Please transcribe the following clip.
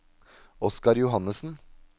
Oscar Johannessen